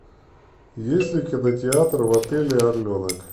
есть ли кинотеатр в отеле орленок